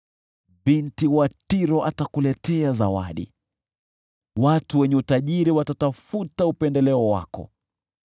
Binti wa Tiro atakuletea zawadi, watu wenye utajiri watatafuta upendeleo wako.